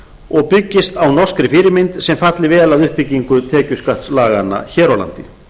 og byggist á norskri fyrirmynd sem falli vel að uppbyggingu tekjuskattslaganna hér á landi